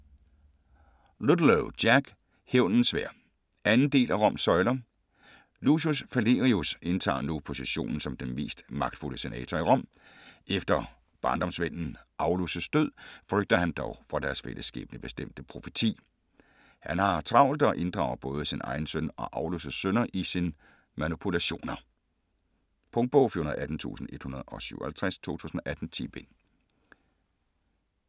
Ludlow, Jack: Hævnens sværd 2. del af Roms søjler. Lucius Falerius indtager nu positionen som den mest magtfulde senator i Rom. Efter barndomsvennen Aulus' død frygter han dog for deres fælles skæbnebestemte profeti. Han har travlt og inddrager både sin egen søn og Aulus' sønner i sine manipulationer. Punktbog 418157 2018. 10 bind.